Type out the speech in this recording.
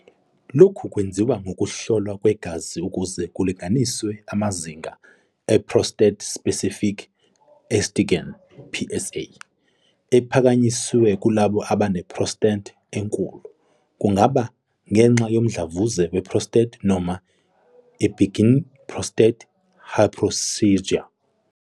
Lokhu kwenziwa ngokuhlolwa kwegazi ukuze kulinganiswe amazinga e-prostate-specific antigen, PSA, ephakanyisiwe kulabo abane-prostate enkulu, kungaba ngenxa yomdlavuza we-prostate noma i-benign prostatic hyperplasia.